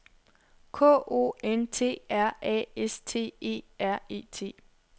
K O N T R A S T E R E T